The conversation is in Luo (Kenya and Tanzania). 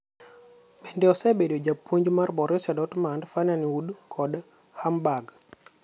Bende Osebedo japuonjmar Borussia Dortmund, Feyenoord kod Hamburg.